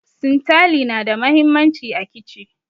Sintali na da muhimmanci a kici